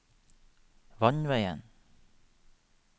vannveien